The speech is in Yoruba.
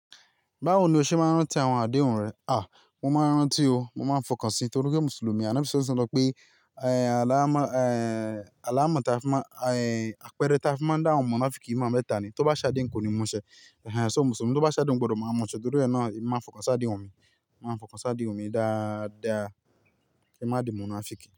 Báwo ni o ṣe máa ń rántí àwọn àdéhùn rẹ? À, mo máa ń rántí o, mo máa ń fọkàn síi nítorí pé Mùsùlùmí ànábi salalale wasalam sọpe ẹ́, àláámọ, ẹ́, àláámọ tí a fi máa, ẹ́, àpẹẹrẹ tí a fi máa ń dá àwọn monáfìkì mọ mẹ́tà ni, tó bá ṣe ádehun ko ni mu ṣẹ. Ṣo mùsùlùmí tó bá ṣáàdéhùn gbọdọ máa mú ṣẹ́ nítorí náà emi má n fọkàn sáàdéhùn mi, mo má n fọkàn sáàdéhùn mi dáadáa ki n má di monáfìkì.